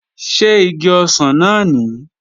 Ṣé igi ọsàn náà nìí?